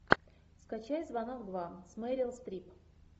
скачай звонок два с мерил стрип